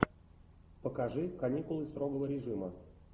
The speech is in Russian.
покажи каникулы строгого режима